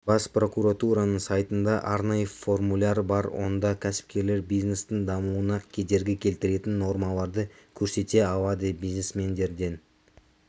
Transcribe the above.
бас прокуратураның сайтында арнайы формуляр бар онда кәсіпкерлер бизнестің дамуына кедергі келтіретін нормаларды көрсете алады бизнесмендерден